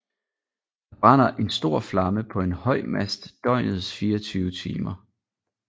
Der brænder en stor flamme på en høj mast døgnets 24 timer